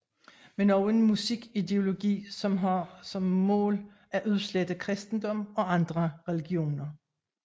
Men også en musik ideologi som har som mål at udslette kristendom og andre religioner